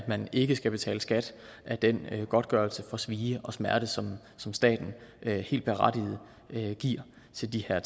man ikke skal betale skat af den godtgørelse for svie og smerte som som staten helt berettiget giver til de her